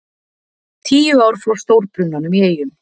Tíu ár frá stórbrunanum í Eyjum